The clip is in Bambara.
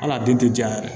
Hal'a den tɛ ja yɛrɛ